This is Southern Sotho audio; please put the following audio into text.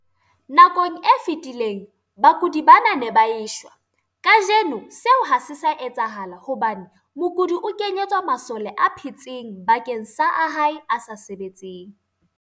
Nakong e fetileng, bakudi bana ba ne ba e shwa. Kajeno seo ha se sa etsahala hobane mokudi o kenyetswa masole a phetseng bakeng sa a hae a sa sebetseng.